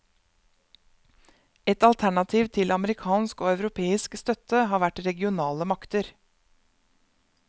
Et alternativ til amerikansk og europeisk støtte har vært regionale makter.